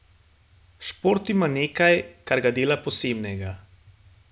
Šport ima nekaj, kar ga dela posebnega.